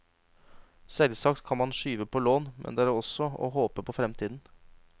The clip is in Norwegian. Selvsagt kan man skyve på lån, men det er også å håpe på fremtiden.